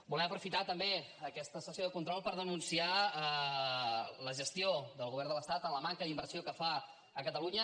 volem aprofitar també aquesta sessió de control per denunciar la gestió del govern de l’estat en la manca d’inversió que fa a catalunya